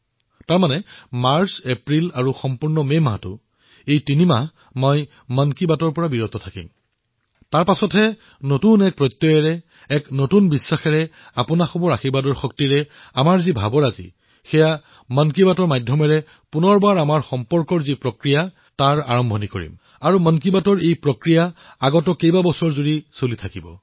অৰ্থাৎ মাৰ্চ মাহ এপ্ৰিল মাহ আৰু মে মাহ এই তিনিমাহৰ আমাৰ যি ভাৱনা মই নিৰ্বাচনৰ পিছত এক নতুন বিশ্বাসৰ সৈতে আপোনালোকৰ আশীৰ্বাদৰ সৈতে পুনৰবাৰ মন কী বাতৰ জৰিয়তে আমাৰ কথাবাৰ্তা আৰম্ভ কৰিম আৰু বহু বছৰলৈ আপোনালোকৰ সৈতে মন কী বাত কৰি থাকিম